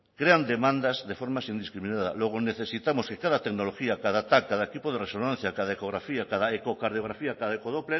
crean demandas de forma indiscriminada luego necesitamos que cada tecnología cada tac cada equipo de resonancia cada ecografía cada ecocardiografía cada